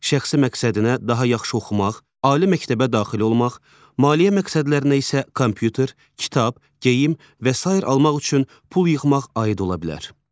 Şəxsi məqsədinə daha yaxşı oxumaq, ali məktəbə daxil olmaq, maliyyə məqsədlərinə isə kompüter, kitab, geyim və sair almaq üçün pul yığmaq aid ola bilər.